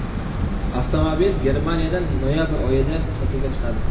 Avtomobil Germaniyada noyabr oyida sotuvga chiqadi.